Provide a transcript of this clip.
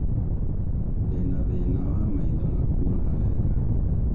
Ndĩna thĩna wa maitho na kuona wega